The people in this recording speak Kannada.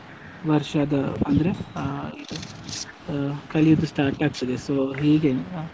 ವರ್ಷದು ಅಂದ್ರೆ ಅಹ್ ಅಹ್ ಕಲಿಯುದು start ಆಗ್ತದೆ, so ಹೀಗೆನೆ.